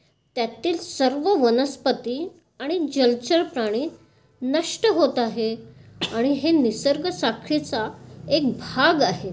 त्यातील सर्व वनस्पति आणि जलचर प्राणी नष्ट होत आहेत. आणि हे निसर्गसाखळीच एक भाग आहेत.